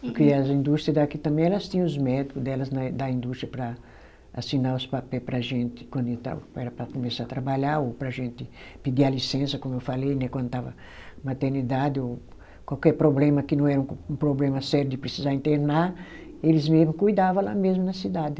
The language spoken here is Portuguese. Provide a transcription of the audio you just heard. Porque as indústria daqui também elas tinham os médico delas na da indústria para assinar os papel para a gente quando estava era para começar a trabalhar ou para a gente pedir a licença, como eu falei né, quando estava maternidade ou qualquer problema que não era um problema sério de precisar internar, eles mesmo cuidava lá mesmo na cidade.